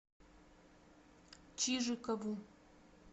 чижикову